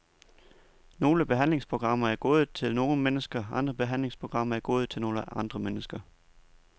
Nogle behandlingsprogrammer er gode til nogle mennesker, andre behandlingsprogrammer er gode til nogle andre mennesker.